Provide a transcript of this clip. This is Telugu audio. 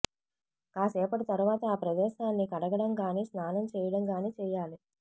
కాసేపటి తరువాత ఆ ప్రదేశాన్ని కడగడం కానీ స్నానం చేయడం కానీ చేయాలి